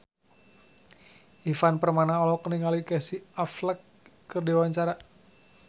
Ivan Permana olohok ningali Casey Affleck keur diwawancara